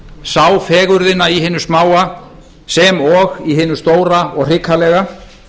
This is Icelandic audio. sá fegurðina í hinu smáa sem og í hinu stóra og hrikalega